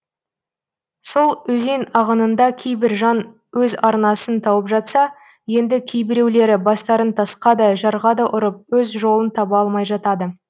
сол өзен ағынында кейбір жан өз арнасын тауып жатса енді кейбіреулері бастарын тасқа да жарға да ұрып өз жолын таба алмай жатады